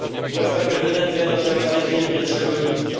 polska prezydencja zaczęła się z dniem 1 lipca.